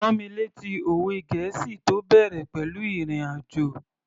Rán mi lẹ́tí òwe gẹ̀ẹ́sì tó bẹ̀rẹ̀ pẹ̀lú ìrìn àjò